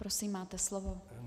Prosím, máte slovo.